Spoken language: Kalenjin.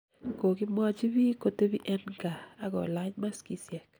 kokimwochi biik kotepii en kaa akulach maskisiek